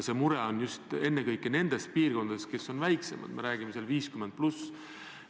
See mure on just ennekõike nendes piirkondades, mis on väiksemad, me räägime seal 50+.